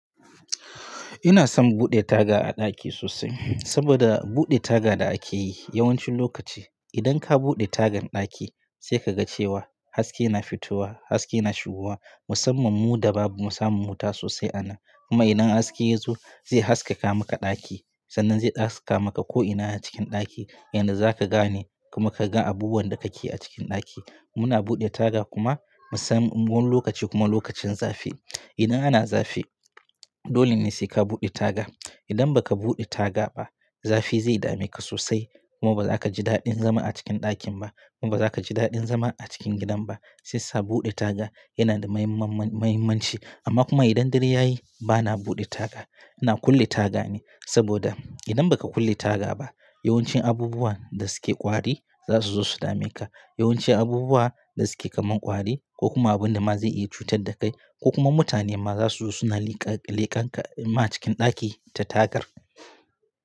Ina son buɗe taga a ɗaki sosai, saboda buɗe taga da ake yi yawancin lokaci, idan ka buɗe tagan ɗaki, sai ka ga cewa haske yana fitowa, haske yana shigowa, musamman mu da bamu samun wuta sosai a nan. Kuma idan haske ya zo, zai haskaka maka ɗaki, sannan zai haskaka maka ko ina a cikin ɗaki, yanda za ka gane, kuma ka gan abubuwan da kake a cikin ɗaki. Muna buɗe taga kuma musamman wani lokaci kuma lokacin zafi. Idan ana zafi, dole ne sai ka buɗe taga, idan ba ka buɗe taga ba, zafi zai dame ka sosai, kuma ba za ka ji daɗin zama a cikin ɗakin ba, kuma ba za ka ji daɗin zama a cikin gidan ba, Shiyasa buɗe taga, yana da mahimman-- mahimmanci, amma kuma idan dare ya yi, ba na buɗe taga, ina kulle taga ne, saboda, idan ba ka kulle taga ba, yawancin abubuwan da suke ƙwari, za su zo su dame ka, Yawancin abubuwa, da suke kamar ƙwari, ko kuma abun da ma zai iya cutar da kai, ko kuma mutane ma za su zo su na liƙe-liƙen ka, ma cikin ɗaki ta tagar.